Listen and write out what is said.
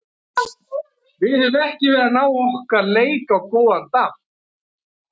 Við höfum ekki verið að ná okkar leik á góðan damp.